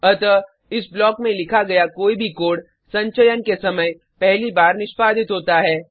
अतः इस ब्लॉक में लिखा गया कोई भी कोड संचयन के समय पहली बार निष्पादित होता है